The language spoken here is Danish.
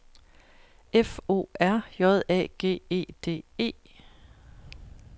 F O R J A G E D E